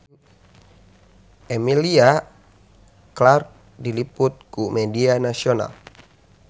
Emilia Clarke diliput ku media nasional